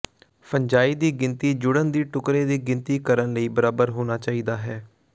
fungi ਦੀ ਗਿਣਤੀ ਜੁੜਨ ਦੀ ਟੁਕੜੇ ਦੀ ਗਿਣਤੀ ਕਰਨ ਲਈ ਬਰਾਬਰ ਹੋਣਾ ਚਾਹੀਦਾ ਹੈ